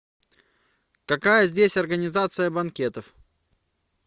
какая здесь организация банкетов